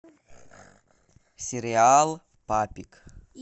сериал папик